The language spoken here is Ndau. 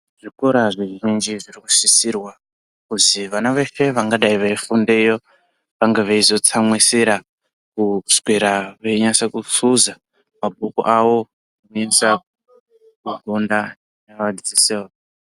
Zvikora zvizhinji zviri kusisirwa kuzi vana veshe vangadai veifundeyo vanga veizotsamwidzira veinyase kusudza mabhuku avo navadzidzisi vavo.